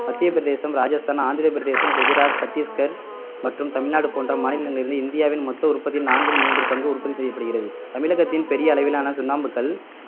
மத்திய பிரதேசம் ராஜஸ்தான் ஆந்திரப் பிரதேசம் குஜராத் சட்டிஸ்கர் மற்றும் தமிழ்நாடு போன்ற மாநிலங்களில் இருந்து இந்தியாவின் மொத்த உற்பத்தியில் நான்கில் மூன்று பங்கு உற்பத்தி செய்யப்படுகிறது தமிழகத்தின் பெரிய அளவிலான சுண்ணாம்புக்கல்